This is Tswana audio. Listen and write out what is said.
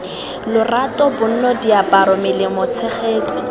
lorato bonno diaparo melemo tshegetso